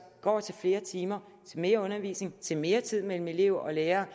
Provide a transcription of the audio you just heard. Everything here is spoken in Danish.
går til flere timer til mere undervisning til mere tid mellem elev og lærer